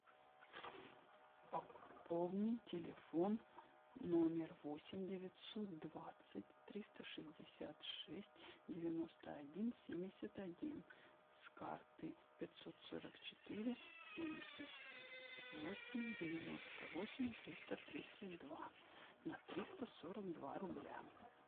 пополни телефон номер восемь девятьсот двадцать триста шестьдесят шесть девяносто один семьдесят один с карты пятьсот сорок четыре семьдесят восемь девяносто восемь триста тридцать два на триста сорок два рубля